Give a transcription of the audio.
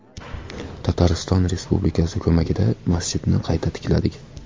Tatariston Respublikasi ko‘magida masjidni qayta tikladik.